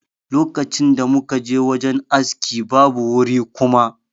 Lokacin da muka je wajen aski, babu wuri kuma.